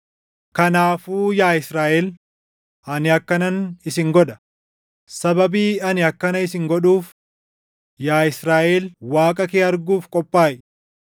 “Kanaafuu yaa Israaʼel, ani akkanan isin godha; sababii ani akkana isin godhuuf yaa Israaʼel Waaqa kee arguuf qophaaʼi.”